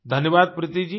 धन्यवाद प्रीति जी